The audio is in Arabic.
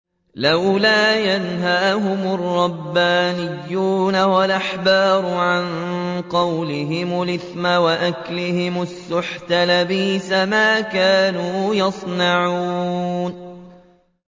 لَوْلَا يَنْهَاهُمُ الرَّبَّانِيُّونَ وَالْأَحْبَارُ عَن قَوْلِهِمُ الْإِثْمَ وَأَكْلِهِمُ السُّحْتَ ۚ لَبِئْسَ مَا كَانُوا يَصْنَعُونَ